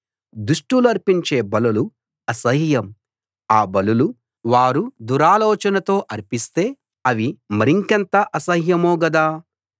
దుష్టులర్పించే బలులు అసహ్యం ఆ బలులు వారు దురాలోచనతో అర్పిస్తే అవి మరింకెంత అసహ్యమో గదా